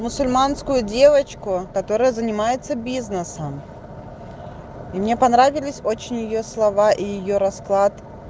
мусульманскую девочку которая занимается бизнесом и мне понравились очень её слова и её расклад